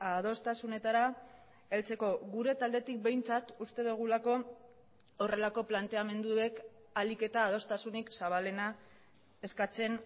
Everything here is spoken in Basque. adostasunetara heltzeko gure taldetik behintzat uste dugulako horrelako planteamenduek ahalik eta adostasunik zabalena eskatzen